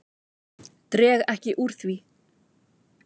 Dreg ekki úr því.